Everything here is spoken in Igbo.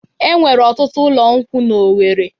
Enwere ọtụtụ ụlọ nkwụ n'Owere.